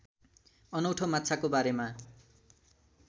अनौठो माछाको बारेमा